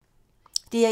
DR1